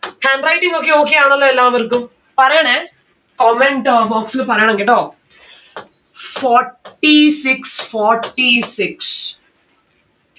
handwriting ഒക്കെ okay ആണല്ലോ എല്ലാവർക്കും? പറയണേ comment box ൽ പറയണം കേട്ടോ? forty six forty six